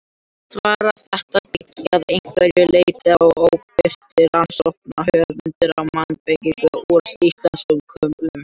Svar þetta byggir að einhverju leyti á óbirtri rannsókn höfundar á mannabeinum úr íslenskum kumlum.